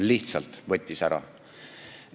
Lihtsalt võttis ära!